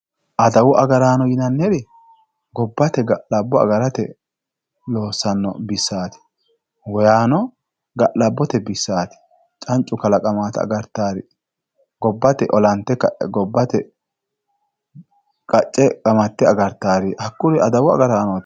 adawu agaraano yinanniri gobbate adawa agarate loossanno bissaati hatto yaano ga'labbote bissaati cancu kalaqamaata agartaari gobbate olante ka'e qacce qamatte agartaari hakkuri adawu agaraanooti.